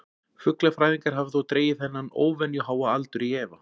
Fuglafræðingar hafa þó dregið þennan óvenju háa aldur í efa.